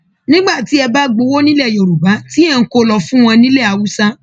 nígbà tí ẹ bá gbowó nílẹ yorùbá tí ẹ ń kó o lọọ fún wọn nílẹ haúsá